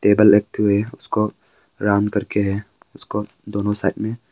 table रखे हुए है उसको राउंड करके है उसको दोनों साइड में--